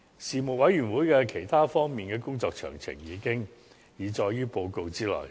事務委員會在其他方面的工作詳情，已載於報告之內。